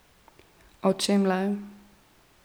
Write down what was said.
O čem le?